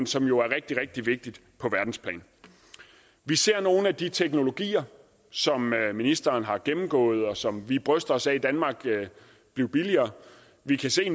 som jo er rigtig rigtig vigtigt på verdensplan vi ser nogle af de teknologier som ministeren har gennemgået og som vi bryster os af blive billigere vi kan se